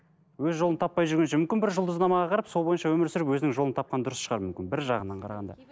өз жолын таппай жүргенше мүмкін бір жұлдызнамаға қарап сол бойынша өмір сүріп өзінің жолын тапқан дұрыс шығар мүмкін бір жағынан қарағанда